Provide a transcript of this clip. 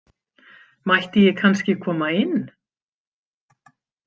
Mætti ég kannski koma inn?